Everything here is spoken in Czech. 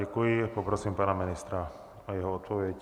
Děkuji a poprosím pana ministra o jeho odpověď.